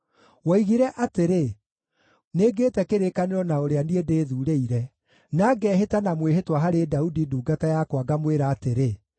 Woigire atĩrĩ, “Nĩngĩte kĩrĩkanĩro na ũrĩa niĩ ndĩthuurĩire, na ngeehĩta na mwĩhĩtwa harĩ Daudi ndungata yakwa ngamwĩra atĩrĩ,